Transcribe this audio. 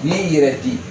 N'i y'i yɛrɛ di